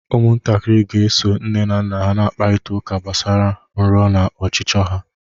Ụmụntakịrị ga-eso nne na nna ha kparịta ụka gbasara nrọ na ọchịchọ ha